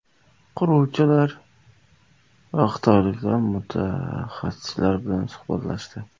Quruvchilar va xitoylik mutaxassislar bilan suhbatlashdi.